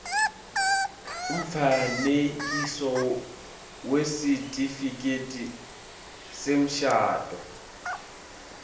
umfanekiso wesitifiketi semshado